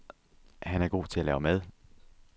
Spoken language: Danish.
Han er god til at lave mad.